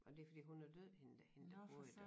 Men det fordi hun er død hende der hende der boede i den